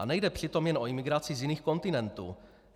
A nejde přitom jen o imigraci z jiných kontinentů.